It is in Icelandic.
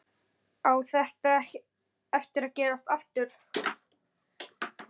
Á þetta eftir að gerast aftur?